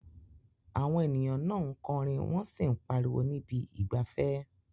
Àwọn ènìyàn náà ń kọrin wọ́n sì ń pariwo ní ibi ìgbafẹ́.